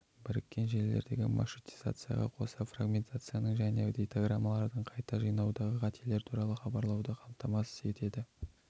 біріккен желілердегі маршрутизацияға қоса фрагментацияны және дейтаграммаларды қайта жинауды қателер туралы хабарлауды қамтамасыз етеді